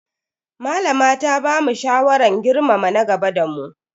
Malama ta bamu shawaran girmama na gaba da mu.